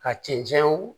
Ka cɛncɛnw